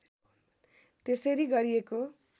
त्यसरी गरिएको